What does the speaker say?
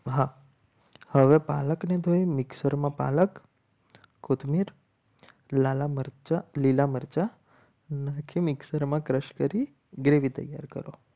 હા હવે પાલકને તો એ મિક્સરમાં પાલક કોથમીર લાલા મરચા લીલા મરચાં મિક્સરમાં crush કરી gravy તૈયાર કરો.